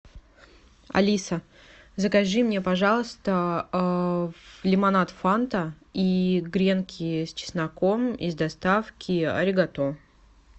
алиса закажи мне пожалуйста лимонад фанта и гренки с чесноком из доставки аригато